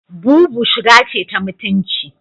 Boubou shiga ce ta mutunci.